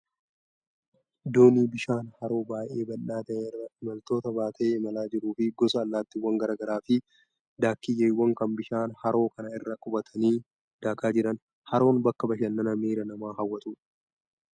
Doonii bishaan haroo baay'ee bal'aa ta'e irra imaltoota baatee imalaa jiruu fi gosa allattiiwwan garaa garaa fi daakiyyeewwan kan bishaan haroo kana irra qubatanii daakaa jiran. Haroon bakka bashannanaa miira namaa hawwatudha.